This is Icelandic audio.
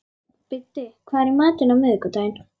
Biddi, hvað er í matinn á miðvikudaginn?